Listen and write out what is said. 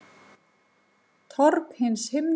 Torg hins himneska friðar